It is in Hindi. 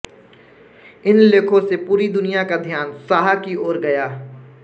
इन लेखों से पूरी दुनिया का ध्यान साहा की ओर गया